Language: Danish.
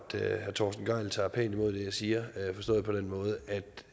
at herre torsten gejl tager pænt imod det jeg siger forstået på den måde at